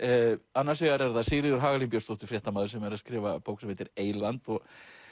annars vegar Sigríður Hagalín Björnsdóttir fréttamaður sem er að skrifa bók sem heitir eyland og